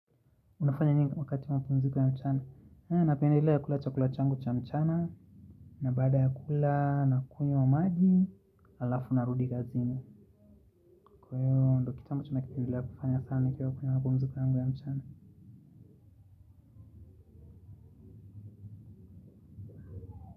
Unafanya nini wakati wa mapumziko ya mchana. Napdelea kula chakula changu cha mchana. Na baada ya kula nakunywa maji. Alafu narudi kazini. Kwaivo ndo kitu ambacho nakipendelea kukifanya sana. Nikiwa kwenye mapumziko ya mchana.